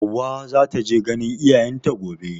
Hauwa za ta je ganin iyayen ta gobe.